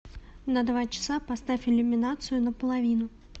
на два часа поставь иллюминацию на половину